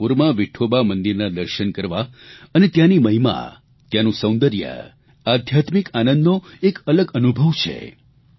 પંઢરપુરમાં વિઠોબા મંદિરના દર્શન કરવા અને ત્યાંની મહિમા ત્યાંનું સૌંદર્ય આધ્યાત્મિક આનંદનો એક અલગ અનુભવ છે